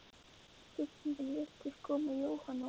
Spurningin virtist koma Jóhanni á óvart.